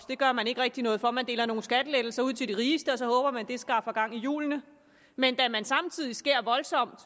gør man ikke rigtig noget for man deler nogle skattelettelser ud til de rigeste og så håber man at det skaffer gang i hjulene men da man samtidig skærer voldsomt